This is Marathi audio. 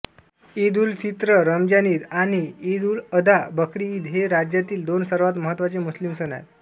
ईदउलफित्र रमजान ईद आणि ईदउलअधा बकरी ईद हे राज्यातील दोन सर्वात महत्त्वाचे मुस्लिम सण आहेत